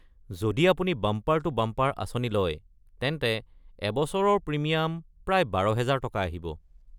যদি আপুনি বাম্পাৰ-টু-বাম্পাৰ আঁচনি লয়, তেন্তে এবছৰৰ প্ৰিমিয়াম প্ৰায় ১২,০০০ টকা আহিব।